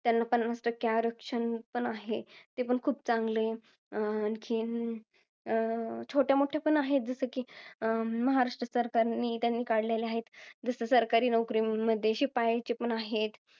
त्यांना पन्नास टक्के आरक्षण पण आहे. ते पण खूप चांगले आहे. आणखीन, अं छोट्यामोठ्या पण आहेत. जसं कि, महाराष्ट्र सरकारनी. त्यांनी काढलेलं आहे. जसं सरकारी नोकरीमध्ये शिपायाचं पण आहे.